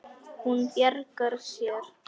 Hún bjargar sér.